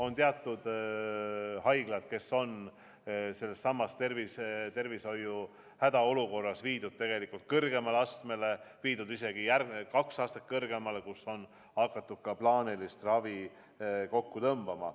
On teatud haiglad, kes on selles tervishoiu hädaolukorras viidud kõrgemale astmele, viidud isegi kaks astet kõrgemale, kus on hakatud ka plaanilist ravi kokku tõmbama.